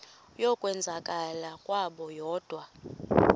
yokwenzakala kwabo kodwa